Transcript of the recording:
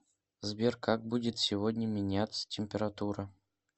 сбер как будет сегодня меняться температура